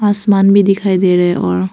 आसमान भी दिखाई दे रहे हैं और--